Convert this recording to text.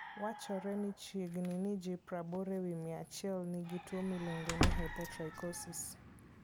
Wachore ni chiegni ji 80 e wi 100 nigi tuwo miluongo ni hypotrichosis.